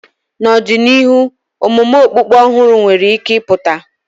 N'ọdịnihu, omume okpukpe ọhụrụ nwere ike ịpụta.